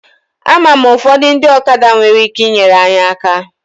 Ama m ụfọdụ ndị ọkada nwere ike inyere anyị aka.